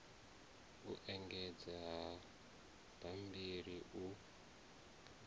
u engedza ha bammbiri u